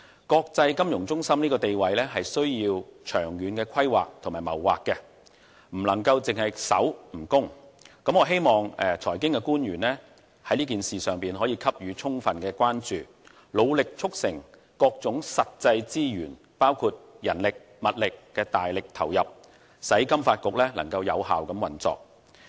國際金融中心地位是需要長遠規劃的，不能只守不攻，我希望財經官員在這件事上給予充分關注，努力促成各種實際資源，包括人力、物力的大力投入，使金發局有效運作。